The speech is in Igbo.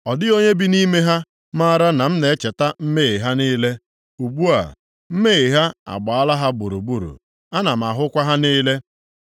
Ọ dịghị onye bi nʼime ha maara na m na-echeta mmehie ha niile. Ugbu a, mmehie ha agbaala ha gburugburu. Ana m ahụkwa ha niile.